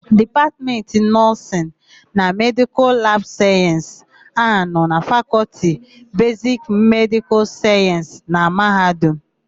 Dipatmentị Nọọsịnụ na Medịkal labụ Sayensị na-anọ na Fakọlti Besiki Medịkal Sayensị na mahadum.